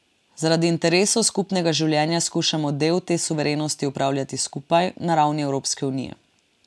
Zaradi interesov skupnega življenja skušamo del te suverenosti opravljati skupaj, na ravni Evropske unije.